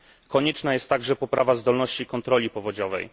Konieczna jest także poprawa zdolności kontroli powodziowej.